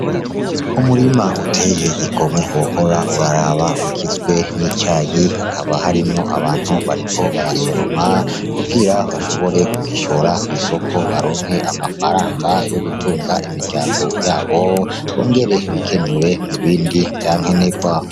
Umurima uteye igomwe wohora uraraba. Ugizwe n'icayi hakaba harimwo abantu bariko barasoroma kugira bashobore kugishora kw'isoko ngo baronke amafaranga yo gutunga imiryango yabo, bongere bikenure mu bindi vya nkenerwa.